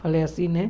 Falei assim, né?